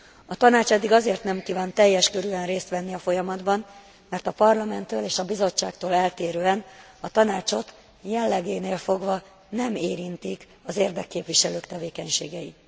A Tanács eddig azért nem kívánt teljes körűen részt venni a folyamatban, mert a Parlamenttől és a Bizottságtól eltérően a Tanácsot jellegénél fogva nem érintik az érdekképviselők tevékenységei.